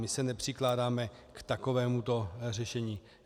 My se nepřikláníme k takovémuto řešení.